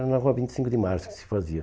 Era na Rua vinte e cinco de Março que se fazia.